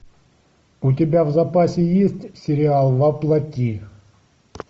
у тебя в запасе есть сериал во плоти